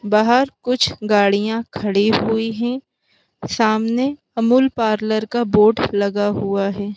बाहर कुछ गाड़ियां खड़ी हुई हैं सामने अमूल पार्लर का बोर्ड लगा हुआ है।